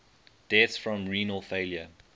deaths from renal failure